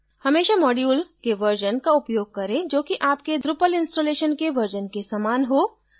हमेशा module के version का उपयोग करें जो कि आपके drupal installation के version के समान हो